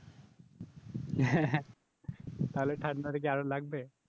হ্যাঁ তাহলে ঠাণ্ডাটা কি আরো লাগবে?